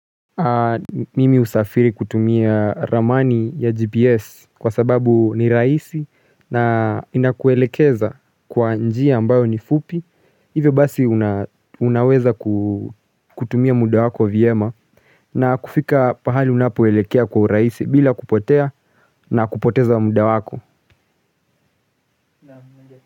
Mimi husafiri kutumia ramani ya GPS kwa sababu ni rahisi na inakuelekeza kwa njia ambayo ni fupi hivyo basi unaweza kutumia muda wako vyema na kufika pahali unapoelekea kwa urahisi bila kupotea na kupoteza muda wako.